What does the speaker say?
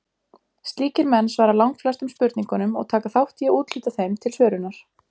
Slíkir menn svara langflestum spurningunum og taka þátt í að úthluta þeim til svörunar.